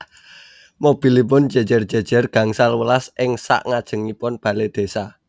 Mobilipun jejer jejer gangsal welas ing sak ngajengipun bale desa